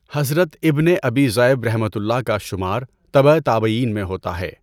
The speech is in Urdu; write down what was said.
حضرت ابنِ ابی ذئبؒ کا شمار تبع تابعین میں ہوتا ہے۔